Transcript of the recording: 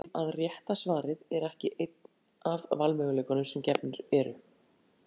Svo vill aðeins til að rétta svarið er ekki einn af valmöguleikunum sem gefnir eru.